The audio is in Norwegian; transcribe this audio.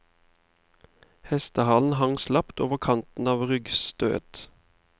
Hestehalen hang slapt over kanten av ryggstøet.